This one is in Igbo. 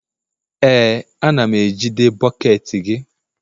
Ee, a na m ejide bọket gị